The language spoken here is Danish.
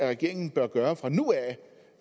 regeringen bør gøre fra nu af